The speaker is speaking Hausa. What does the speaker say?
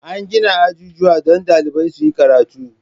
An gina ajujuwa don ɗalibai su yi karatu.